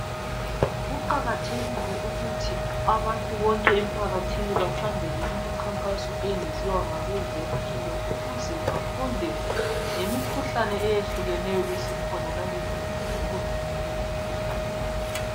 Kuqakathekile ukuthi abantu bonke emphakathini bahambele imikhankaso etshiyetshiyeneyo eyenziwa ngabezempilo ukuze bafunde ngemikhuhlane eyehlukeneyo esikhona langezindlela zokuvimna leyi mikhuhlane